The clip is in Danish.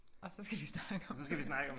Og så skal vi snakke